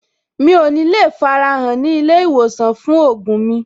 Mi ò ní le farahàn ní ilé-ìwòsàn fún ògùn mi.